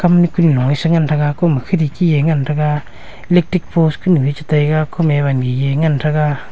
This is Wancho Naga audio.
amne kuni a ngan taga kuma kherki e ngan taga electric post nu e cha taiga kuma ami e ngan taiga.